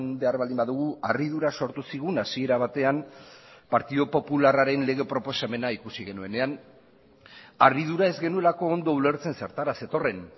behar baldin badugu harridura sortu zigun hasiera batean partidu popularraren lege proposamena ikusi genuenean harridura ez genuelako ondo ulertzen zertara zetorren